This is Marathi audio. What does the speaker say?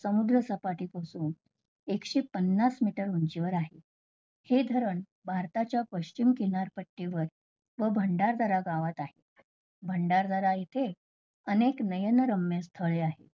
समुद्र सपाटीपासून एकशे पन्नास meter उंचीवर आहे. हे धरण भारताच्या पश्चिम किनारपट्टीवर व भंडारदारा गावात आहे. भंडारदारा इथे अनेक नयनरम्य स्थळे आहेत.